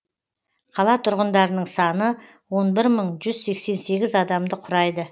қала тұрғындарының саны он бір мың жүз сексен сегіз адамды құрайды